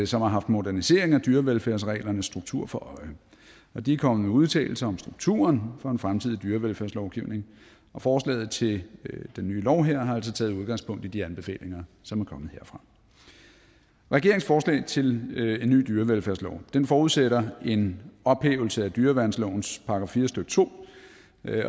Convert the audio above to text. som har haft modernisering af dyrevelfærdsreglernes struktur for øje og de er kommet med udtalelser om strukturen for en fremtidig dyrevelfærdslovgivning og forslaget til den nye lov her har altså taget udgangspunkt i de anbefalinger som er kommet herfra regeringens forslag til en ny dyrevelfærdslov forudsætter en ophævelse af dyreværnslovens § fire stykke to